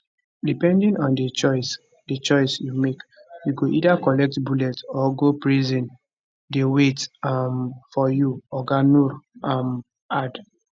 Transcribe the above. depending on di choice di choice you make you go either collect bullet or go prison dey wait um for you oga nuur um add